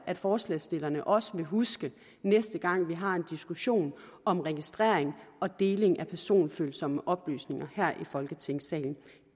at forslagsstillerne også vil huske næste gang vi har en diskussion om registrering og deling af personfølsomme oplysninger her i folketingssalen